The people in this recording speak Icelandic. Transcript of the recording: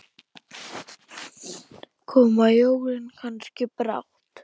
Koma jólin kannski brátt?